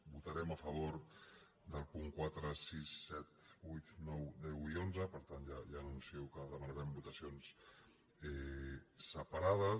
votarem a favor dels punts quatre sis set vuit nou deu i onze per tant ja anuncio que demanarem votacions separades